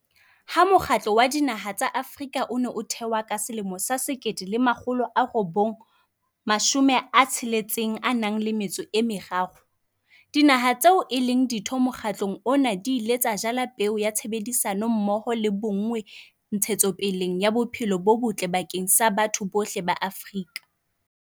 Ha Mokgatlo wa Dinaha tsa Afrika o ne o thewa ka 1963, Dinaha tseo e leng Ditho mokgatlong ona di ile tsa jala peo ya tshebedisano mmoho le bonngwe ntshetsopeleng ya bophelo bo botle bakeng sa batho bohle ba Afrika.